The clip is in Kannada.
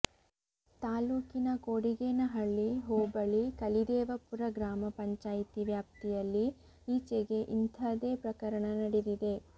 ತಾಲ್ಲೂಕಿನ ಕೊಡಿಗೇನಹಳ್ಳಿ ಹೋಬಳಿ ಕಲಿದೇವಪುರ ಗ್ರಾಮ ಪಂಚಾಯಿತಿ ವ್ಯಾಪ್ತಿಯಲ್ಲಿ ಈಚೆಗೆ ಇಂಥದೇ ಪ್ರಕರಣ ನಡೆದಿದೆ